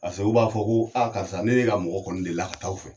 Paseke u b'a fɔ ko karisa ne ye ka mɔgɔ kɔni delila ka taa aw fɛ